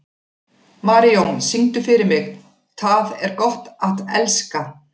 Marijón, syngdu fyrir mig „Tað er gott at elska“.